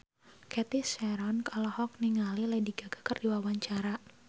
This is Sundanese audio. Cathy Sharon olohok ningali Lady Gaga keur diwawancara